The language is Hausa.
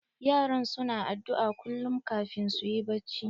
Yaran su na addu'a kullum kafin su yi bacci.